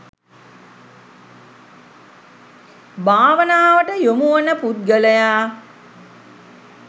භාවනාවට යොමුවන පුද්ගලයා